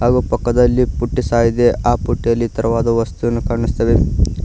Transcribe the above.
ಹಾಗು ಪಕ್ಕದಲ್ಲಿ ಪುಟ್ಟಿ ಸಹ ಇದೆ ಆ ಪುಟ್ಟಿಯಲ್ಲಿ ತರವಾದ ವಸ್ತುವನ್ನು ಕಾಣಿಸ್ತವೆ.